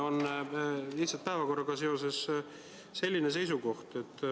On lihtsalt päevakorraga seoses märkus.